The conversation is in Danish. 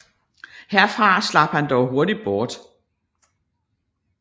Herfra slap han dog hurtig bort